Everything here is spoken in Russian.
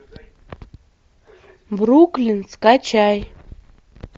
бруклин скачай